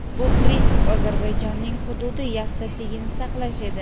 Bu prinsip Ozarbayjonning hududiy yaxlitligini saqlash edi.